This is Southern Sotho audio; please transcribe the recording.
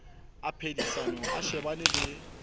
a phedisano a shebane le